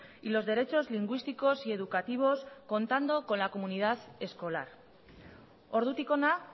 y los derechos lingüísticos y educativos contando con la comunidad escolar ordutik hona